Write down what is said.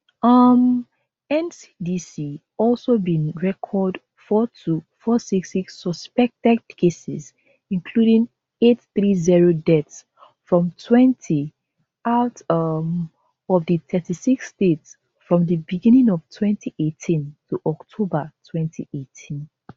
um ncdc also bin record four-two-four-six-six suspected cases including eight-three-zero deaths from twenty out um of di thirty-six states from di beginning of twenty eighteen to october twenty eighteen